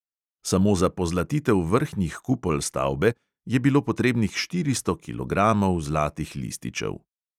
Samo za pozlatitev vrhnjih kupol stavbe je bilo potrebnih štiristo kilogramov zlatih lističev.